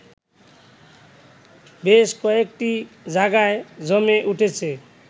বেশ কয়েকটি জায়গায় জমে উঠেছে